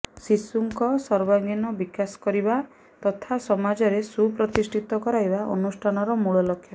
ଶିଶୁଙ୍କ ସର୍ବାଙ୍ଗୀନ ବିକାଶ କରିବା ତଥା ସମାଜରେ ସୁପ୍ରତିଷ୍ଠିତ କରାଇବା ଅନୁଷ୍ଠାନର ମୂଳ ଲକ୍ଷ୍ୟ